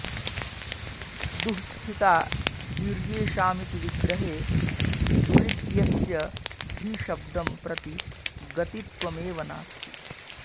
दुःस्थिता धीर्येषामिति विग्रहे दुरित्यस्य धीशब्दं प्रति गतित्वमेव नास्ति